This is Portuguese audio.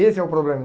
Esse é o problema.